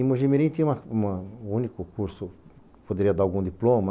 Em Mogi mirim tinha uma uma um único curso, poderia dar algum diploma,